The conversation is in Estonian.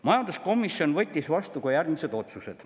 Majanduskomisjon võttis vastu järgmised otsused.